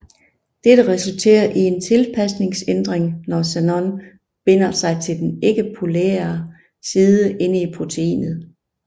Dette resulterer i en tilpasningsændring når xenon binder sig til den ikkepolære side inde i proteinet